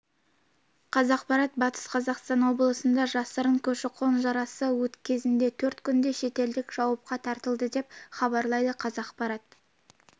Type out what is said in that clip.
қазақпарат батыс қазақстан облысында жасырын көші-қон шарасы кезінде төрт күнде шетелдік жауапқа тартылды деп хабарлайды қазақпарат